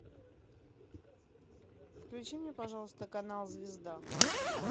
включи мне пожалуйста канал звезда